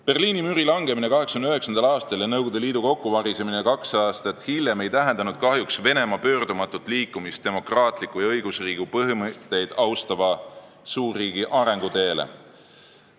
Berliini müüri langemine 1989. aastal ja Nõukogude Liidu kokkuvarisemine kaks aastat hiljem ei tähendanud kahjuks Venemaa pöördumatut liikumist demokraatliku ja õigusriigi põhimõtteid austava suurriigi arenguteele.